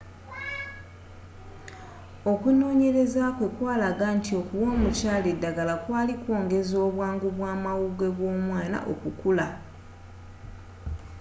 okunonyeleza kwe kwalaga nti okuwa omukyala eddagala kwali kwongeza obwangu bwamawugwe gw'omwana okukula